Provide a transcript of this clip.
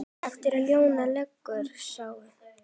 Efst á ljánum liggur sá.